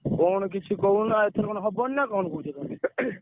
କଣ କିଛି କହୁନା ଏଥର କଣ ହବନି ନା କଣ କହୁଛ ତମେ?